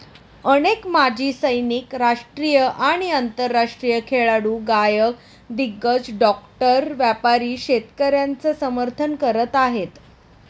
अनेक माजी सैनिक, राष्ट्रीय आणि आंतरराष्ट्रीय खेळाडू, गायक, दिग्गज, डॉक्टर, व्यापारी शेतकऱ्यांचं समर्थन करत आहेत.